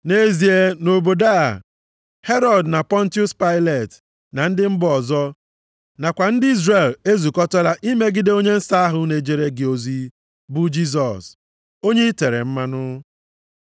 Nʼezie nʼobodo a, Herọd na Pọntiọs Pailet, na ndị mba ọzọ, nakwa ndị Izrel ezukọtala imegide onye nsọ ahụ na-ejere gị ozi, bụ Jisọs, onye i tere mmanụ,